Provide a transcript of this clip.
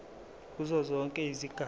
kuzo zonke izigaba